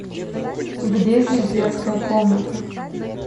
где здесь детская комната